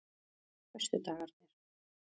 föstudagarnir